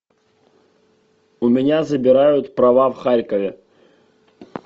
у меня забирают права в харькове